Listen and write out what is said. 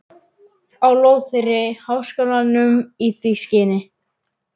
á lóð þeirri háskólanum í því skyni